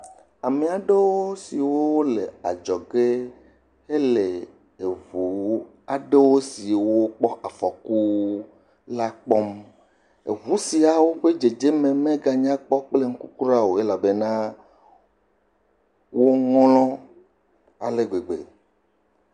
Ame aɖewo si wole adzɔgɛ hele ŋu aɖe siwo kpɔ afɔku kpɔm. Ŋu siawo ƒe dzedze me meganya kpɔ kple ŋku kura o elabena woŋlɔ̃ ale gbegbe.